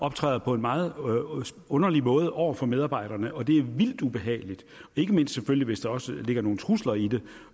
optræder på en meget underlig måde over for medarbejderne og det er vildt ubehageligt ikke mindst selvfølgelig hvis der også ligger nogle trusler i